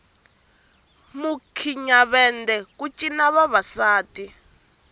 mukhinyavende ku cina vavasati